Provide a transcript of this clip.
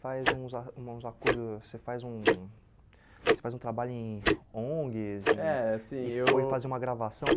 Você faz uns a uns acordos você faz um você faz um trabalho em ONGs em, é assim eu e foi fazer uma gravação.